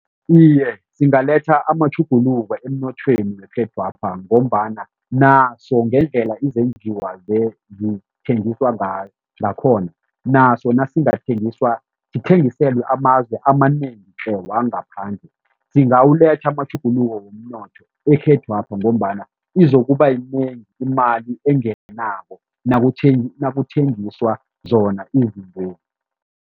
Iye, zingaletha amatjhuguluko emnothweni wekhethwapha ngombana naso ngendlela izenjiwa zithengiswa ngayo ngakhona, naso nasingathengiswa sithengiselwe amazwe amanengi tle wangaphandle singawuletha amatjhuguluko womnotho ekhethwapha ngombana izokuba yinengi imali engenako nakuthengiswa zona izintwezi.